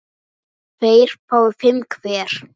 tveir fái fimm hver